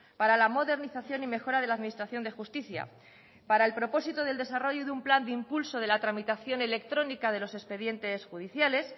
para la modernización y mejora de la administración de justicia para el propósito del desarrollo de un plan de impulso de la tramitación electrónica de los expedientes judiciales